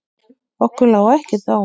Okkur lá ekkert á.